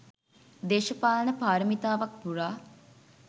දේශපාලන පාරමිතාවක් පුරා